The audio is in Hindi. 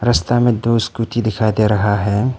में दो स्कूटी दिखाई दे रहा है।